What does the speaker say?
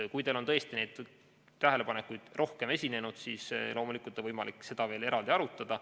Kui teil on tõesti rohkem neid tähelepanekuid, siis loomulikult on võimalik seda veel eraldi arutada.